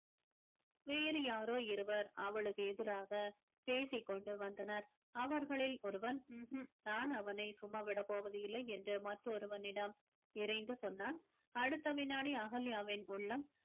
வேறு யாரோ இருவர் அவளுக்கு எதிராக பேசிக் கொண்டு வந்தனர் அவர்களில் ஒருவன் உம் உம் நான் அவனை சும்மா விடப் போவதில்லை என்று மற்றொருவனிடம் இறைந்து சொன்னான் அடுத்த வினாடி அகல்யாவின் உள்ளம்